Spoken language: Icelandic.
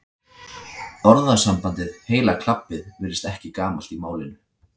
orðasambandið heila klabbið virðist ekki gamalt í málinu